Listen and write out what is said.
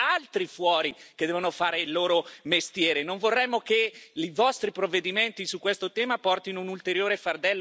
Non vorremmo che i vostri provvedimenti su questo tema portino un ulteriore fardello per le nostre imprese e portino un ulteriore fardello per